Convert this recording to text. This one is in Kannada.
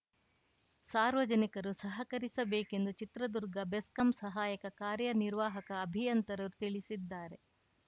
ಸಾರ್ವಜನಿಕರು ಸಹಕರಿಸಬೇಕೆಂದು ಚಿತ್ರದುರ್ಗ ಬೆಸ್ಕಾಂ ಸಹಾಯಕ ಕಾರ್ಯನಿರ್ವಾಹಕ ಅಭಿಯಂತರರು ತಿಳಿಸಿದ್ದಾರೆ